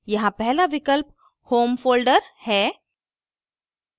यहाँ पहला विकल्प home folder है